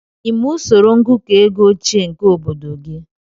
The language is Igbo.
Ị ma usoro ngụkọ oge ochie nke obodo gị?